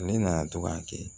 Ne nana to ka kɛ